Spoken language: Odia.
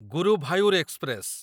ଗୁରୁଭାୟୁର ଏକ୍ସପ୍ରେସ